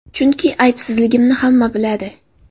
Chunki aybsizligimni hamma biladi.